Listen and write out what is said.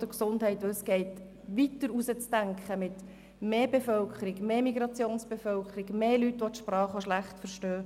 Es geht darum, weiterzudenken und eine grössere Migrationsbevölkerung im Auge zu haben, das heisst, es wird mehr Personen geben, die die Sprache schlecht verstehen.